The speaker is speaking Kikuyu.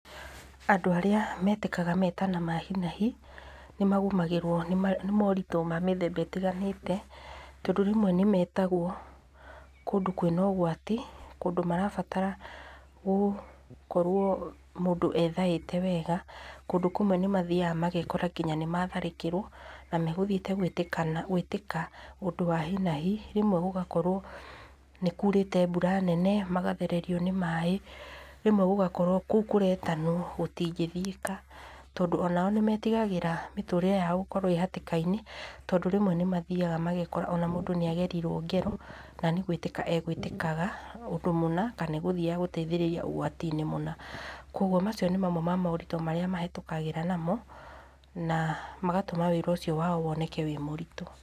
Andũ arĩa metĩkaga metĩka ma hi na hi nĩ magũmagĩrwo nĩ moritũ ma mĩthemba ĩtiganĩte, tondũ rĩmwe nĩ metagwo kũndũ kwĩna ũgwati kũndũ marabatara mũndũ akorwo ethaĩte wega. Kũndũ kũmwe nĩ mathiaga magekora nginya nĩ matharĩkĩrwo, na magũthiĩte gũĩtĩka ũndũ wa hi na hi. Rĩmwe gũgakorwo nĩ kurĩte mbura nene, magathererio nĩ maĩ. Rĩmwe gũgakorwo kũu kũretanwo gũtingĩthiĩka tondũ onao nĩ metigagĩra mĩtũrĩre yao gũkorwo ĩ hatĩkainĩ, tondũ rĩmwe nĩ mathiaga magekora ona mũndũ nĩ agerirwo ngero na nĩ gũĩtĩka agũĩtĩkaga ũndũ mũna kana egũthiaga gũteithĩrĩria ũgwatinĩ mũna. Koguo macio nĩ mamwe ma moritũ marĩa mahĩtũkagĩra namo, na magatũma wĩra ũcio wao woneke wĩ mũritũ.